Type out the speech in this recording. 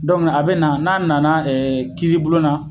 Dɔnku a be na n'a nana kiiribulon na